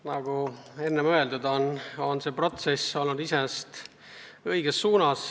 Nagu enne öeldud, on see protsess kulgenud iseenesest õiges suunas.